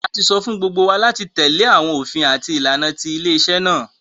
A tí sọ fún gbógbó wá láti tèlé àwọn òfin àti ìlànà tí ilé-isé náa